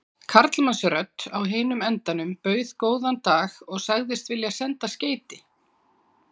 Karlmannsrödd á hinum endanum bauð góðan dag og sagðist vilja senda skeyti.